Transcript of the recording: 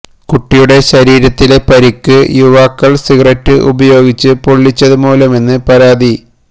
കുട്ടിയുടെ ശരീരത്തിലെ പരിക്ക് യുവാക്കള് സിഗരറ്റ് ഉപയോഗിച്ച് പൊള്ളിച്ചത് മൂലമെന്നാണ് പരാതി